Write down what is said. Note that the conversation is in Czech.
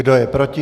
Kdo je proti?